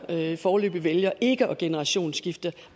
foreløbig vælger ikke at generationsskifte